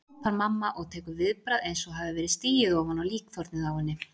hrópar mamma og tekur viðbragð eins og hafi verið stigið ofan á líkþornið á henni.